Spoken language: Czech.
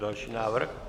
Další návrh.